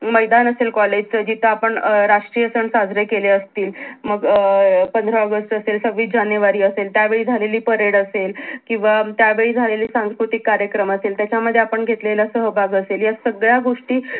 मैदान असेल कॉलेज च जिथ आपण राष्ट्रीय सण साजरे केले आसतील मग अं पंधरा ऑगस्ट असेल, सव्वीस जानेवरी असेल त्यावेळी झालेली pared असेल या सगळ्या गोष्टी